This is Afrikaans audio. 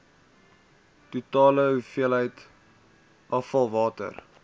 totale hoeveelheid afvalwater